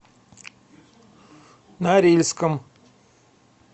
норильском